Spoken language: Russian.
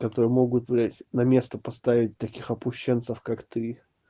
которые могут блядь на место поставить таких опущенцев как ты